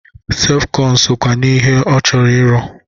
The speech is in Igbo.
Sefkọn sokwa n'ihe ọ chọrọ ịrụ.